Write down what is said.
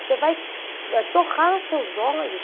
Você vai torrar seus olhos.